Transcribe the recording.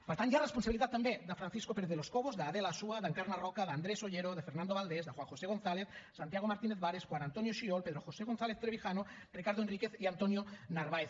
per tant hi ha responsabilitat també de francisco pérez de los cobos d’adela asúa d’encarna roca d’andrés ollero de fernando valdés de juan josé gonzález santiago martínez vares juan antonio xiol pedro josé gonzález trevijano ricardo enríquez i antonio narváez